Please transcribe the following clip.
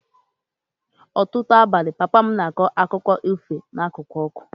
N'ọtụtụ abalị, papa m na-akọ akụkọ ifo n'akụkụ ọkụ